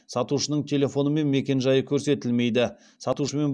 сатушының телефоны мен мекенжайы көрсетілмейді сатушымен